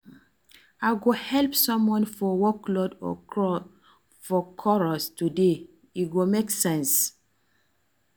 I go help someone for workload or chores today, e go make sense.